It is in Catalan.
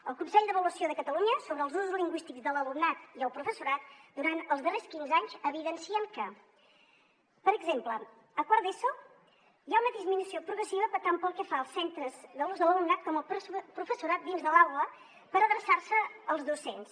el consell d’avaluació de catalunya sobre els usos lingüístics de l’alumnat i el professorat durant els darrers quinze anys evidencia que per exemple a quart d’eso n’hi ha una disminució progressiva tant pel que fa als centres de l’ús de l’alumnat com el professorat dins de l’aula per adreçar se als docents